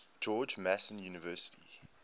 george mason university